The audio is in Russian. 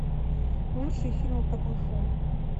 лучшие фильмы про кунг фу